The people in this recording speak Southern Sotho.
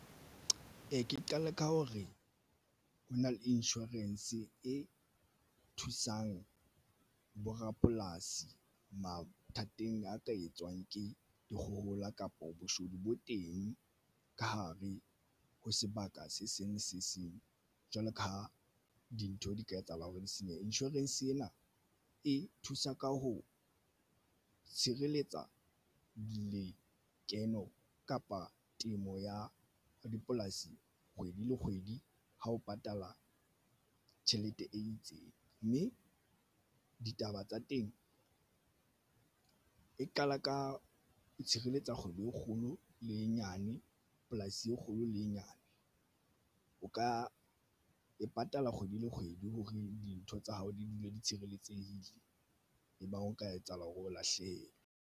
Ee, ke qale ka ho re ho na le insurance e thusang borapolasi mathateng a ka etswang ke dikgohola, kapo boshodu bo teng ka hare ho sebaka se seng se seng. Jwalo ka ha dintho di ka etsahala hore di senya insurance ena e thusa ka ho tshireletsa dikeno kapa temo ya dipolasi kgwedi le kgwedi ha o patala tjhelete e itseng, mme ditaba tsa teng e qala ka itshireletsa kgwedi e kgolo le e nyane polasi e kgolo le e nyane o ka e patala kgwedi le kgwedi hore dintho tsa hao di dule di tshireletsehile ebang o ka etsahala hore o lahlehe.